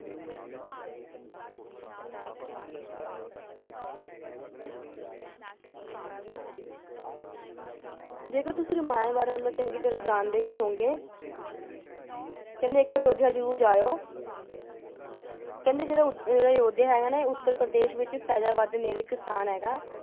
ਦੇਖੋ ਤੁਸੀ ਰਾਮਾਯਣ ਬਾਰੇ ਮਤਲਬ ਚੰਗੀ ਤਰਹ ਹੀ ਹੋਉਗੇ ਇੱਕ ਵਾਰੀ ਅਯੋਧਿਆ ਜ਼ਰੂਰ ਜਾਇਓ ਜਦੋ ਅਯੋਧਿਆ ਹੈ ਨਾ ਉਤੱਤਰਾਪ੍ਰਦੇਸ਼ ਵਿਚ ਸਥਾਨ ਹੈਗਾ ।